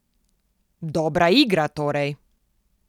Dobra igra, torej.